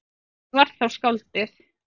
Það var þá skáldið.